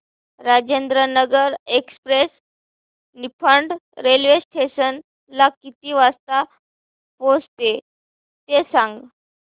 Rajendranagar express Niphad railway station ला किती वाजता पोहचते ते सांग